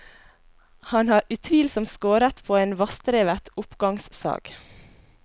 Han har utvilsomt skåret på en vassdrevet oppgangssag.